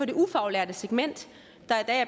det ufaglærte segment